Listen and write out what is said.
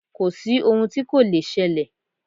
Kò sí ohun tí kò le ṣẹlẹ̀.